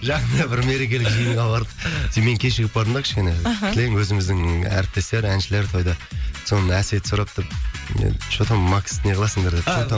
жақсы бір мерекелік жиынға бардық содан кейін мен кешігіп бардым да кішкене мхм кілең өзіміздің әріптестер әншілер тойда содан әсет сұрапты енді что там максты не қыласыңдар деп что там